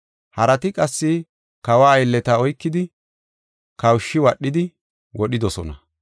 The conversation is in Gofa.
Harati qassi kawa aylleta oykidi, kawushi wadhidi wodhidosona.